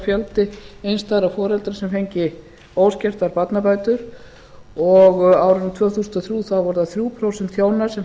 fjöldi einstæðra foreldra sem fengju óskertar barnabætur á árinu tvö þúsund og þrjú voru það þrjú prósent hjóna sem fengu